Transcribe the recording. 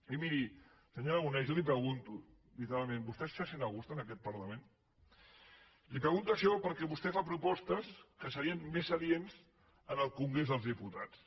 i miri senyor aragonès jo li pregunto literalment vostè se sent a gust en aquest parlament li pregunto això perquè vostè fa propostes que serien més adients en el congrés dels diputats